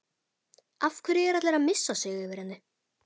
Af hverju er allir að missa sig yfir henni?